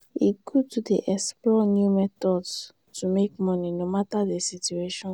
e good to dey explore new methods to make money no matter di situation.